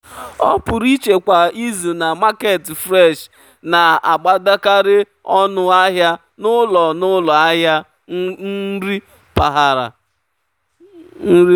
ọpụrụiche kwa izu na market fresh na-agbadakarị ọnụ ahịa n'ụlọ n'ụlọ ahịa nri mpaghara.